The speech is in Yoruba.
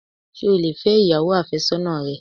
Sé o lè fẹ́ ìyàwó àfésọ́nà rẹ?